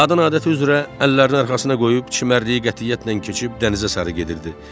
Qadın adəti üzrə əllərini arxasına qoyub çimərliyə qətiyyətlə keçib dənizə sarı gedirdi.